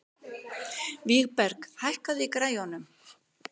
Vígberg, hækkaðu í græjunum.